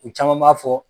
U caman b'a fɔ